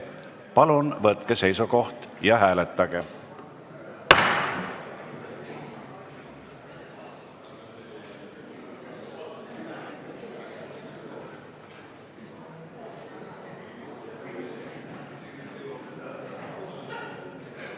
Palun võtke seisukoht ja hääletage!